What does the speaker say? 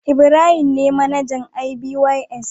Ibrahim ne manajan ibys.